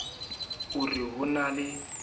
o re ho na le